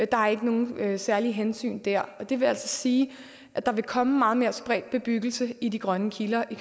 der er ikke nogen særlige hensyn dér og det vil altså sige at der vil komme meget mere spredt bebyggelse i de grønne kiler i